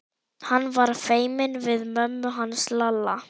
Hann var feiminn við mömmu hans Lalla.